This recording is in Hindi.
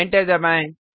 एंटर दबाएँ